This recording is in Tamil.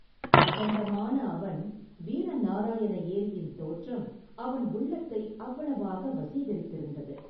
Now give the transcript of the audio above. அகண்டமான அவன் வீர நாராயண ஏரியின் தோற்றம் அவன் உள்ளத்தை அவ்வளவாக வசீகரித்திருந்தது.